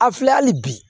A filɛ hali bi